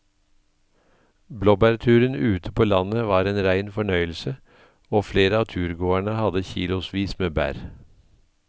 Blåbærturen ute på landet var en rein fornøyelse og flere av turgåerene hadde kilosvis med bær.